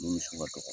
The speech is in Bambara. Ni misi ka dɔgɔ